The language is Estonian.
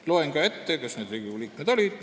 Loen ka ette, kes need Riigikogu liikmed olid.